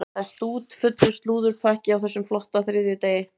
Það er stútfullur slúðurpakki á þessum flotta þriðjudegi.